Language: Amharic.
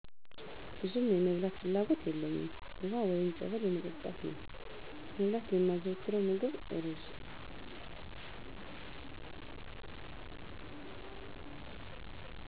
ብዙም የመብላት ፍላጎት የለኝም ውሃ ወይ ፀበል የመጠጣት ነው መብላት የማዘወትረው ምግብ እሩዝ